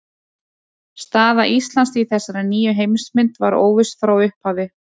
Staða Íslands í þessari nýju heimsmynd var óviss frá upphafi.